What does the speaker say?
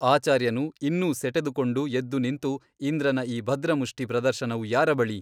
ಆಚಾರ್ಯನು ಇನ್ನೂ ಸೆಟೆದುಕೊಂಡು ಎದ್ದು ನಿಂತು ಇಂದ್ರನ ಈ ಭದ್ರಮುಷ್ಠಿ ಪ್ರದರ್ಶನವು ಯಾರ ಬಳಿ ?